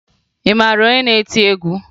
Ị mara onye na-eti egwu?